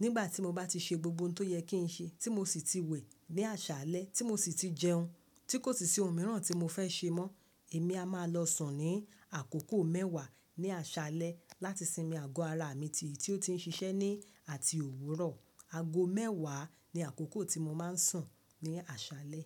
Nígbà tí mo bá ti ṣe gbogbo ohun tó yẹ kí n ṣe, tí mo sì ti wẹ̀ ní àṣálẹ́, tí mo sì ti jẹun, tí kò sì sí ohun mìíràn tí mo fẹ́ ṣe mọ́, èmi a máa lọ sùn ní àkókò mẹ́wàá ní àṣálẹ́ láti sinmi àgọ́ ara mi ti ì tí ó ti ń ṣiṣẹ́ ní àti òwúrọ̀. Àgó mẹ́wàá ni àkókò tí mo máa ń sùn ní àṣálẹ́.